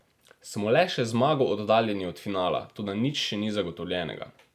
Smo le še zmago oddaljeni od finala, toda nič še ni zagotovljenega.